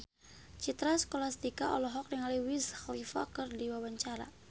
Citra Scholastika olohok ningali Wiz Khalifa keur diwawancara